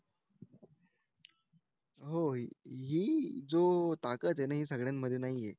हो ही जो ताकद हे ना हे सगळ्यांमध्ये नाहीये